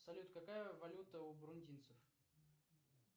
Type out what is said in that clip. салют какая валюта у брундинцев